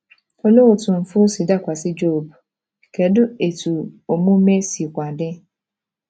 Olee otú mfu si dakwasị Job, kedu etu omume sikwa dị?